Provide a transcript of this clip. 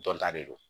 Dɔn ta de don